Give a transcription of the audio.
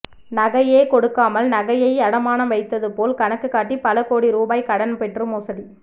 நகையே கொடுக்காமல் நகையை அடமானம் வைத்தது போல் கணக்கு காட்டி பல கோடி ரூபாய் கடன் பெற்று மோசடி